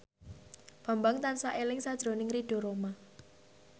Bambang tansah eling sakjroning Ridho Roma